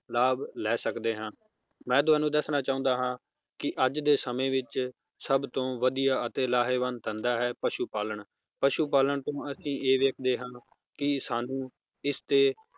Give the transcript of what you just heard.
ਲਾਭ ਲੈ ਸਕਦੇ ਹਾਂ ਮੈ ਤੁਹਾਨੂੰ ਦੱਸਣਾ ਚਾਹੁੰਦਾ ਹਾਂ ਕਿ ਅੱਜ ਦੇ ਸਮੇ ਵਿਚ ਸਭ ਤੋਂ ਵਧੀਆ ਅਤੇ ਲਾਹੇਵਾਨ ਧੰਦਾ ਹੈ ਪਸ਼ੂ ਪਾਲਣ ਪਸ਼ੂ ਪਾਲਣ ਤੇ ਅਸੀਂ ਇਹ ਦੇਖਦੇ ਹਾਂ ਕਿ ਸਾਨੂੰ ਇਸ ਤੇ